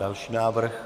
Další návrh.